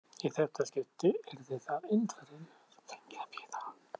Í þetta skipti yrði það Indverjinn, sem fengi að bíða.